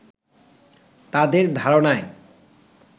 তাঁদের ধারণায়